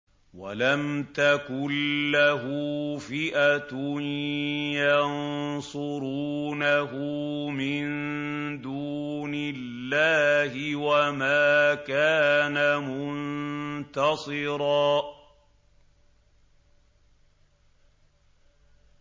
وَلَمْ تَكُن لَّهُ فِئَةٌ يَنصُرُونَهُ مِن دُونِ اللَّهِ وَمَا كَانَ مُنتَصِرًا